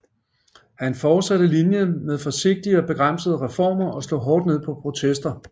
Han fortsatte linjen med forsigtige og begrænsede reformer og slog hårdt ned på protester